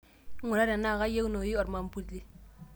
ingura tenaa kaayieunoyu ormambuli